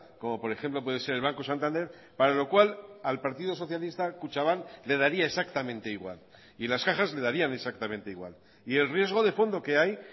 como por ejemplo puede ser el banco santander para lo cual al partido socialista kutxabank le daría exactamente igual y las cajas le darían exactamente igual y el riesgo de fondo que hay